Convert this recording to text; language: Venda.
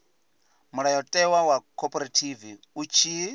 mulayotewa wa khophorethivi u tshi